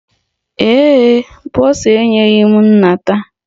Ee e, bọsa enyeghị m nnata